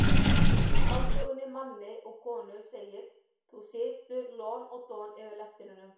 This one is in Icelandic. Í skáldsögunni Manni og konu segir: þú situr lon og don yfir lestrinum.